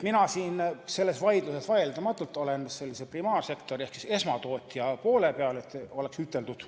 Mina olen selles vaidluses kindlalt primaarsektori ehk siis esmatootja poole peal – et see oleks ära üteldud.